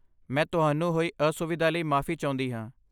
ਮੈਂ ਤੁਹਾਨੂੰ ਹੋਈ ਅਸੁਵਿਧਾ ਲਈ ਮਾਫੀ ਚਾਹੁੰਦੀ ਹਾਂ।